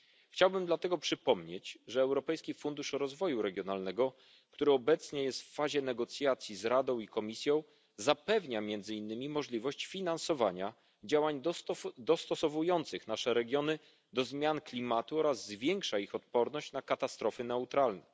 Chciałbym dlatego przypomnieć, że Europejski Fundusz Rozwoju Regionalnego, który obecnie jest w fazie negocjacji z Radą i Komisją, zapewnia między innymi możliwość finansowania działań dostosowujących nasze regiony do zmian klimatu oraz zwiększa ich odporność na katastrofy naturalne.